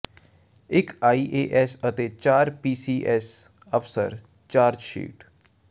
ਇਕ I A S ਅਤੇ ਚਾਰ ਪੀ ਸੀ ਐੱਸ ਅਫਸਰ ਚਾਰਜ਼ਸ਼ੀਟ